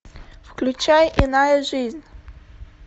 включай иная жизнь